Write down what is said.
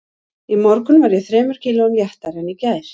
Í morgun var ég þremur kílóum léttari en í gær